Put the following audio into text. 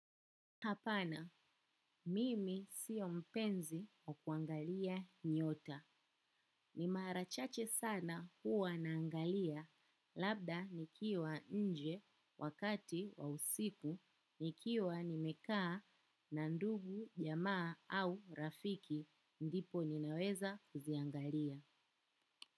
Hapana, mimi siyo mpenzi wa kuangalia nyota. Ni mara chache sana huwa naangalia, labda nikiwa nje wakati wa usiku, nikiwa nimekaa na ndugu, jamaa au rafiki, ndipo ninaweza kuziangalia.